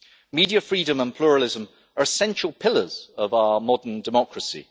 Media freedom and pluralism are essential pillars of our modern democracy.